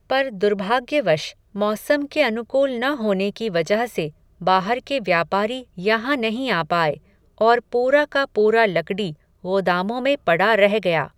पर दुर्भाग्यवश, मौसम के अनुकूल न होने की वजह से, बाहर के व्यापारी यहां नहीं आ पाए, और पूरा का पूरा लकडी, ग़ोदामों में, पडा रह गया